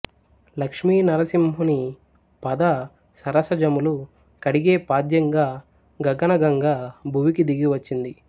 లక్ష్మినరసింహుని పద సరసజములు కడిగే పాద్యంగా గగన గంగ భువికి దిగి వచ్చింది